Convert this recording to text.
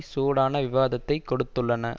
சூடான விவாதத்தைக் கொடுத்துள்ளன